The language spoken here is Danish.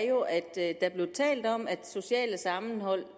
jo at der blev talt om at socialt sammenhold